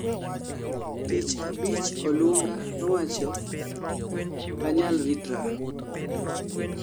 tich abich olunga nowacho:"okanyal ritra